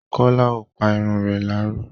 Kọ́lá ò pa irun re láró.